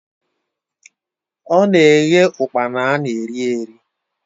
Ọ na-eghe ụkpana ana eri eri